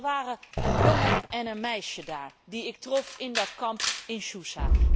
Er waren een jongen en een meisje daar, die ik trof in dat kamp in Shousha.